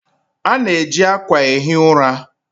A na-eji akwa ehi ụra.